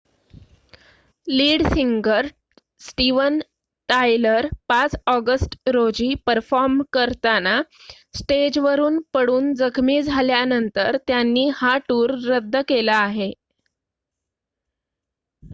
lead singer Steven Tyler 5 August रोजी perform करताना स्टेजवरुन पडून जखमी झाल्यानंतर त्यांनी हा टूर रद्द केला आहे